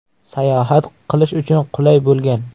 Sayohat qilish uchun qulay bo‘lgan.